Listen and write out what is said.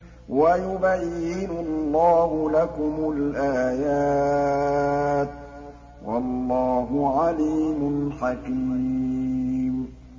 وَيُبَيِّنُ اللَّهُ لَكُمُ الْآيَاتِ ۚ وَاللَّهُ عَلِيمٌ حَكِيمٌ